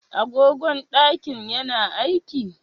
Agogon ɗakin ya na aiki?